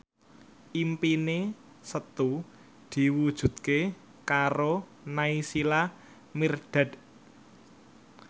impine Setu diwujudke karo Naysila Mirdad